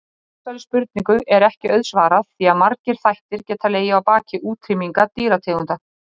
Þessari spurningu er ekki auðsvarað því að margir þættir geta legið að baki útrýmingu dýrategunda.